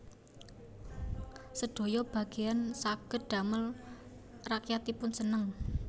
Sedaya bageyan saged damel rakyatipun seneng